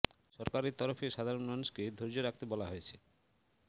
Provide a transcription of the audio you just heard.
সরকারের তরফে সাধারণ মানুষকে ধৈর্য রাখতে বলা হয়েছে